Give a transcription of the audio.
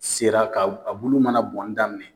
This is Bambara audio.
Sera ka bulu mana bɔnni daminɛ.